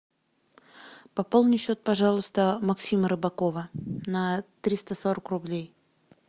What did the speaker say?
пополни счет пожалуйста максима рыбакова на триста сорок рублей